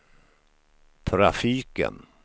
trafiken